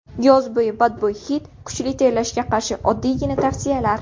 Yoz oyida badbo‘y hid, kuchli terlashga qarshi oddiygina tavsiyalar.